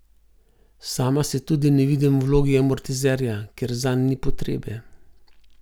Sama se tudi ne vidim v vlogi amortizerja, ker zanj ni potrebe.